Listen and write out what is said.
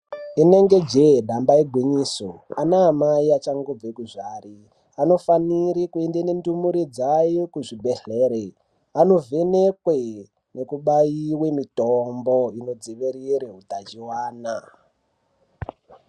Inenge jee damba igwinyiso ana amai achangobve kuzvara anofanire kuende nendumure dzavo kuzvibhedhlere anovhenekwe nekubaiwe mitombo inodzivirire hutachiwana.